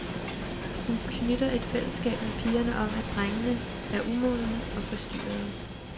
Hun knytter et fællesskab med pigerne om, at drengene er umodne og forstyrrende.